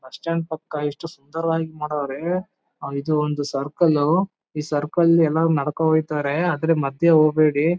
bus stand ಪಕ್ಕ ಎಷ್ಟು ಸುಂದರವಾಗಿ ಮಾಡವ್ರೆಇದು ಒಂದು ಸರ್ಕಲ್ ಉ ಈ ಸರ್ಕಲ್ ಎಲ್ಲ ನಡ್ಕೊ ಹೊಯ್ತಾರೆ ಅದ್ರ್ ಮದ್ಯೆ ಹೋಬೇಡಿ--